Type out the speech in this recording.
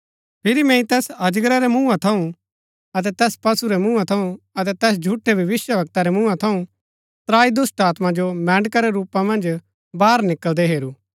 फिरी मैंई तैस अजगरा रै मुँहा थऊँ अतै तैस पशु रै मुँहा थऊँ अतै तैस झूठै भविष्‍यवक्ता रै मुँहा थऊँ त्राई दुष्‍टात्मा जो मैंढ़का रै रूपा मन्ज बाहर निकळदै हेरू